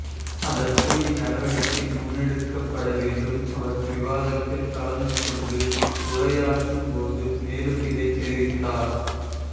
அதற்குரிய நடவடிக்கை முன்னெடுக்கப்படவேண்டும் அவர் விவாதத்தில் கலந்து கொண்டு உரையாற்றும் போது மேலும் இதனை தெரிவித்தார்